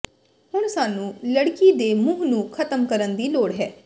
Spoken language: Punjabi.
ਹੁਣ ਸਾਨੂੰ ਲੜਕੀ ਦੇ ਮੂੰਹ ਨੂੰ ਖਤਮ ਕਰਨ ਦੀ ਲੋੜ ਹੈ